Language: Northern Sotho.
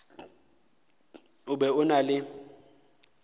o be o na le